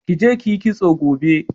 Ki je ki yi kitso gobe.